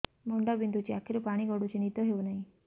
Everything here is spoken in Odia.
ମୁଣ୍ଡ ବିନ୍ଧୁଛି ଆଖିରୁ ପାଣି ଗଡୁଛି ନିଦ ହେଉନାହିଁ